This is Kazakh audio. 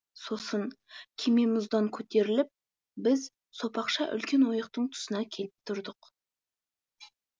сосын кеме мұздан көтеріліп біз сопақша үлкен ойықтың тұсына келіп тұрдық